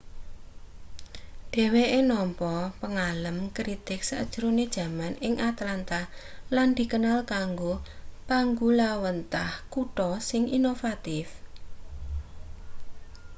dheweke nampa pangalem kritig sajrone jaman ing atlanta lan dikenal kanggo panggulawenthah kutha sing inovatif